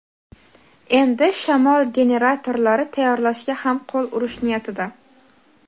endi shamol generatorlari tayyorlashga ham qo‘l urish niyatida.